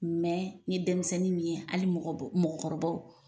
n ye denmisɛnnin min ye hali mɔgɔbɔ mɔgɔkɔrɔbaw